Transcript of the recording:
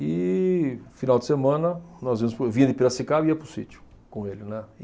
E, final de semana, nós vínhamos para o, vinha de Piracicaba e ia para o sítio com ele, né.